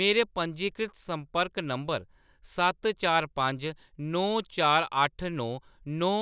मेरे पंजीकृत संपर्क नंबर सत्त चार पंज नौ चार अट्ठ नौ नौ